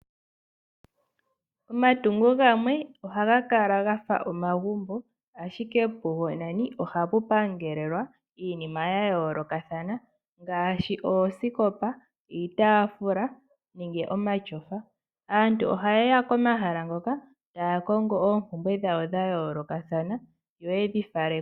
Omatungo gamwe oha ga kala ga fa omagumbo, ashike pugo nani oha pu pangelelwa iinima ya yoolokathana ngaashi oosikopa, iitafula, nenge nomashofa. Aantu oha ye ya pomahala ngoka ta ya kongo oompumbwe dhawo dha yoolokathana dhe dhi fale.